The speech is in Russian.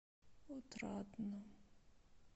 отрадном